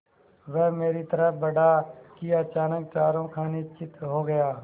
वह मेरी तरफ़ बढ़ा कि अचानक चारों खाने चित्त हो गया